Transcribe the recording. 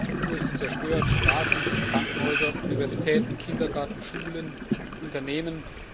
Infrastruktur ist zerstört Straßen, Krankenhäuser, Universitäten, Kindergärten, Schulen, Unternehmen.